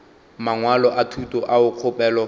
mangwalo a thuto ao kgopelo